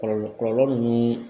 Kɔlɔlɔ kɔlɔlɔ ni